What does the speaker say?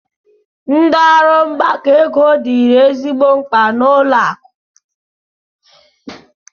Ndi ọrụ mgbakọ ego dịịrị ezigbo mkpa n'ụlọ akụ.